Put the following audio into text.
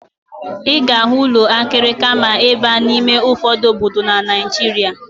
Ị ga-ahụ ụlọ akịrịka ma ị baa n'ime ụfọdụ obodo na Naịjirịa.